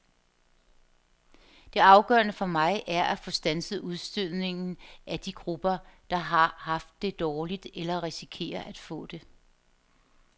Det afgørende for mig er at få standset udstødningen af de grupper, der har haft det dårligt eller risikerer at få det.